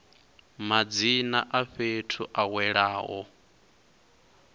madzina a fhethu a welaho